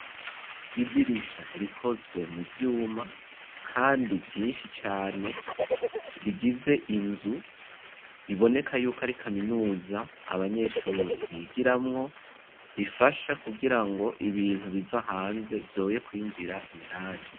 Idirisha rikozwe mu vyuma kandi vyinshi cane rigize inzu biboneka yuko ari kaminuza abanyeshure bigiramwo rifasha kugira ngo ibintu biva hanze vyoye kwinjira indani.